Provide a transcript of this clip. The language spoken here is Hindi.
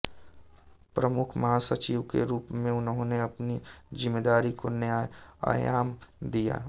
प्रमुख महासचिव के रूप में उन्होंने अपनी जिम्मेदारी को नया आयाम दिया